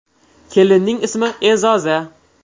Kelinning ismi E’zoza.